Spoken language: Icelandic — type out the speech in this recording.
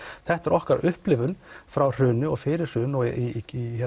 þetta er okkar upplifun frá hruni og fyrir hrun og í